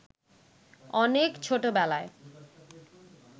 অনেক ছোটবেলায়